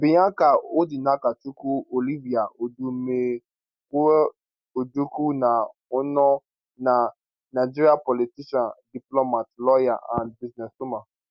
bianca odinakachukwu olivia odumegwuojukwu ne onoh na nigerian politician diplomat lawyer and businesswoman